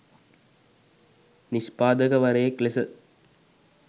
නිෂ්පාදකවරයෙක් ලෙස